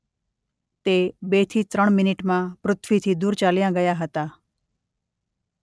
તે બે થી ત્રણ મિનિટમાં પૃથ્વીથી દૂર ચાલ્યાં ગયા હતાં.